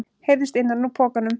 heyrðist innan úr pokanum.